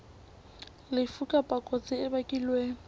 lefu kapa kotsi e bakilweng